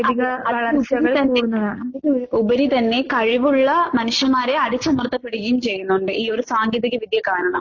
അതെ. അത് തന്നെ ഉപരിതന്നെ കഴിവുള്ള മനുഷ്യമ്മാരെ അടിച്ചമർത്തപ്പെടുകയും ചെയ്യുന്നൊണ്ട് ഈയൊരു സാങ്കേതിക വിദ്യ കാരണം.